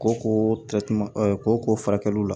Ko ko ko furakɛli la